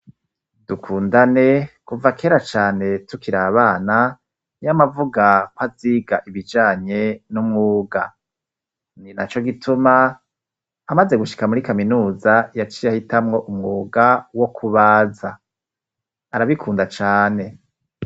Dukundane kuva kera cane tukir' abana y'amavuga kwaziga ibijanye n'umwuga, ni naco gituma amaze gushika muri kaminuza yaciy' ahitamwo umwuga wo kubaza ,arabikunda cane